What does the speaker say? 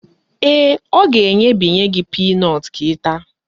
Ee, ọ ga-enyebinye gị pinọtụ ka ị taa